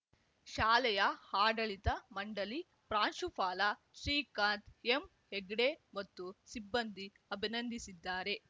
ಶಾಲೆಯ ಆಡಳಿತ ಮಂಡಳಿ ಪ್ರಾಂಶುಪಾಲ ಶ್ರೀಕಾಂತ್‌ ಎಮ್‌ ಹೆಗ್ಡೆ ಮತ್ತು ಸಿಬ್ಬಂದಿ ಅಭಿನಂದಿಸಿದ್ದಾರೆ